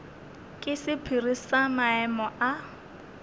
ke sephiri sa maemo a